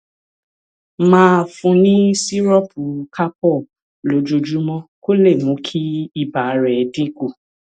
máa fún un ní sìrọọpù calpol lójoojúmọ kó lè mú kí ibà rẹ̀ dín kù